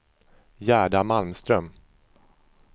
Gerda Malmström